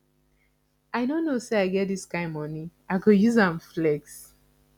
i no know say i get dis kin money i go use am flex